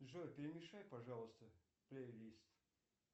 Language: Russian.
джой перемешай пожалуйста плей лист